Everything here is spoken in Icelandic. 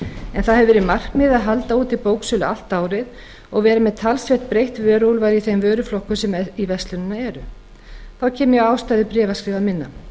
en það hefur verið markmiðið að halda úti bóksölu allt árið og hafa talsvert breitt vöruúrval í þeim vöruflokkum sem í versluninni eru þá kem ég að ástæðu bréfaskrifa minna